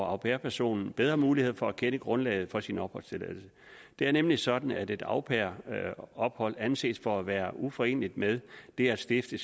au pair personen bedre mulighed for at kende grundlaget for sin opholdstilladelse det er nemlig sådan at et au pair ophold anses for at være uforeneligt med det at stifte